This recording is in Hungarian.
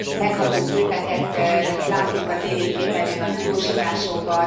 Megható képeket látunk a tévéképernyőn a tudósításokban.